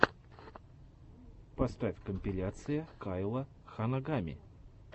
поставь компиляция кайла ханагами